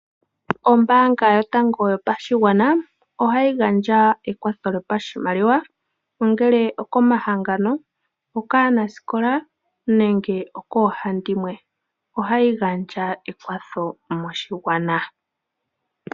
Ombaanga yotango yopashigwana ohayi gandja ekwatho lyopashimaliwa, ongele okomahangano, okaanasikola nenge okoohandimwe. Ohayi gandja ekwatho moshigwana.